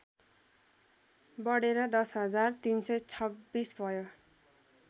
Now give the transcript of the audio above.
बढेर १० हजार ३२६ भयो